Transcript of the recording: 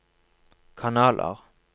kanaler